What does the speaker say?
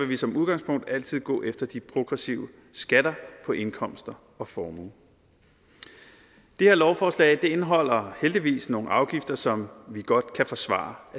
vi som udgangspunkt altid gå efter de progressive skatter på indkomst og formue det her lovforslag indeholder heldigvis nogle afgifter som vi godt kan forsvare